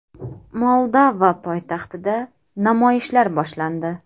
Moldova poytaxtida namoyishlar boshlandi.